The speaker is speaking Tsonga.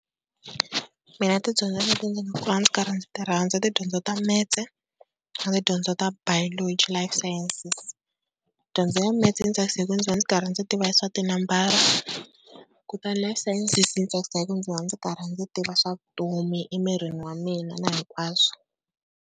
Mina tidyondzo leti ndzi nga ndzi karhi ndzi ti rhandza i tidyondzo ta Maths na tidyondzo ta Biology, Life Sciences. Dyondzo ya Maths yi ni tsakisa hi ku ndzi va ndzi karhi ndzi tiva swa tinambara, kutani Life Sciences yi ni tsakisa hi ku ndzi va ndzi karhi ndzi tiva swa vutomi emirini wa mina na hinkwaswo.